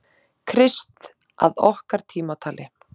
Krist að okkar tímatali.